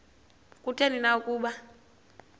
kutheni na ukuba